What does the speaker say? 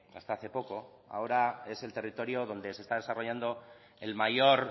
hasta hace poco ahora es el territorio donde se está desarrollando el mayor